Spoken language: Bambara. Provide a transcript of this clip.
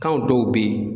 Kan dɔw bɛ ye